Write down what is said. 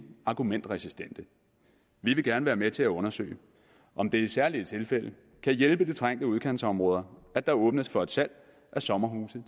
argumentresistente vi vil gerne være med til at undersøge om det i særlige tilfælde kan hjælpe de trængte udkantsområder at der åbnes for et salg af sommerhuse